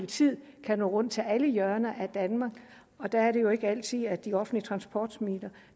tid kan nå rundt til alle hjørner af danmark og der er det jo ikke altid at de offentlige transportmidler